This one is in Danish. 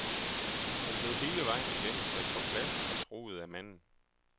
Hun blev hele vejen igennem sat på plads og truet af manden.